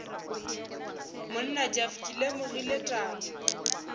monna jeff ke lemogile taba